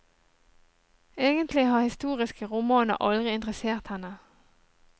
Egentlig har historiske romaner aldri interessert henne.